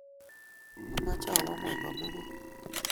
amoche awo ngony komugul.